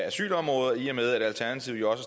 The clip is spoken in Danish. asylområdet og i og med at alternativet jo også